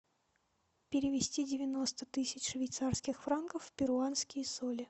перевести девяносто тысяч швейцарских франков в перуанские соли